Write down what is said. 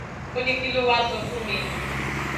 ó ní kí ló wáá sọ fún mi